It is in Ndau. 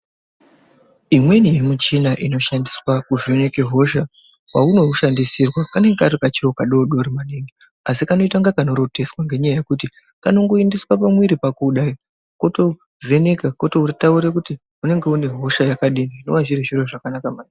Imweni yemuchina inoshandiswa kuvheneka hosha, peunoushandisirwa kanenge kari kachiro kadoodori maningi, asi kanoita inga kanoroteswa, ngenyaya yekuti kanongoendeswe pamwiri pako kudai, kotovheneka, kototaura kuti unenge une hosha yakadini, zvinenge zviri zviro zvakanaka maningi.